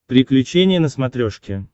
приключения на смотрешке